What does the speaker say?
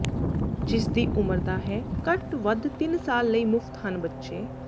ਜਿਸ ਦੀ ਉਮਰ ਦਾ ਹੈ ਘੱਟ ਵੱਧ ਤਿੰਨ ਸਾਲ ਲਈ ਮੁਫ਼ਤ ਹਨ ਬੱਚੇ